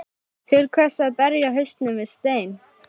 Til hvers að berja hausnum við stein?